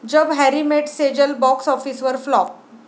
जब Harry met Sejal box ऑफिसवर flop